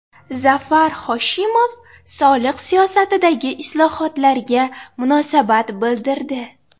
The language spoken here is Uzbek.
Zafar Hoshimov soliq siyosatidagi islohotlarga munosabat bildirdi.